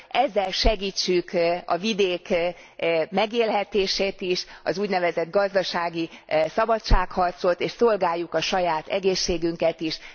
Ezzel segítsük a vidék megélhetését is, az úgynevezett gazdasági szabadságharcot, és szolgáljuk a saját egészségünket is.